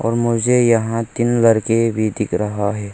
और मुझे यहां तीन लड़के भी दिख रहा है।